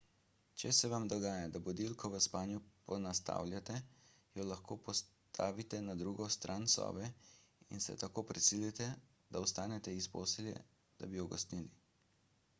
če se vam dogaja da budilko v spanju ponastavljate jo lahko postavite na drugo stran sobe in se tako prisilite da vstanete iz postelje da bi jo ugasnili